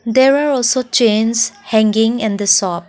there are also chains hanging in the shop.